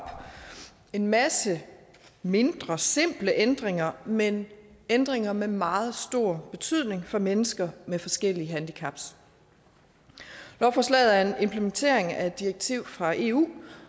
en masse mindre simple ændringer men ændringer med meget stor betydning for mennesker med forskellige handicap lovforslaget er en implementering af et direktiv fra eu